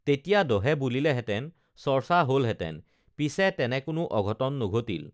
তেতিয়া দহে বুলিলেহেঁতেন চৰ্চা হলহেঁতেন পিছে তেনে কোনো অঘটন নঘটিল